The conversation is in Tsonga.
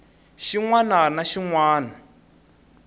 xin wana ni xin wana